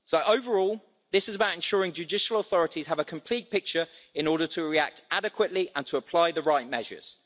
Overall, this is about ensuring judicial authorities have a complete picture in order to react adequately and to apply the right measures.